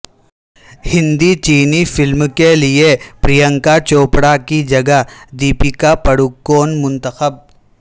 ہندی چینی فلم کیلئے پرینکا چوپڑاکی جگہ دپیکا پڈوکون منتخب